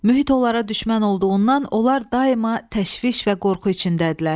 Mühit onlara düşmən olduğundan onlar daima təşviş və qorxu içindədirlər.